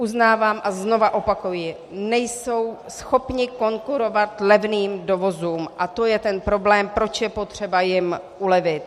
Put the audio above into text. Uznávám a znovu opakuji, nejsou schopni konkurovat levným dovozům, a to je ten problém, proč je potřeba jim ulevit.